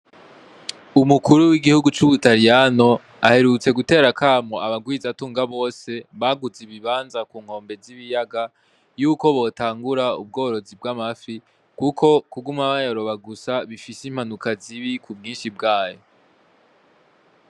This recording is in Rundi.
Umukuru w'igihugu c'ubutariyano aherutse gutera akamo abagwizatunga bose baguze ibibanza ku nkombe z'ibiyaga y'uko botangura ubworozi bw'amafi, kuko kuguma bayaroba gusa bifise impanuka zibi ku bwinshi bwayo.